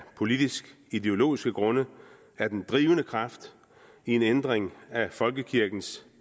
politiske og ideologiske grunde er den drivende kraft i en ændring af folkekirkens